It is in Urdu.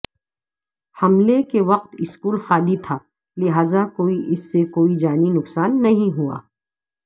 حملے کے وقت اسکول خالی تھا لہذا کوئی اس سے کوئی جانی نقصان نہیں ہوا